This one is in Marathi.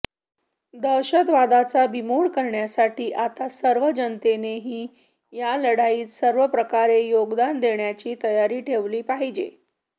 दहशतवादाचा बिमोड करण्यासाठी आता सर्व जनतेनेही या लढाईत सर्वप्रकारे योगदान देण्याची तयारी ठेवली पाहिजे